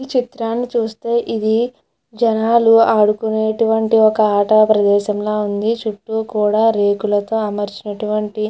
ఈ చిత్రాన్ని చూస్తే ఇది జనాలు ఆడుకునేటువంటి ఒక ప్రదేశం లాగా ఉంది. చుట్టూ కూడా రేకులతోనే అమర్చినటువంటి --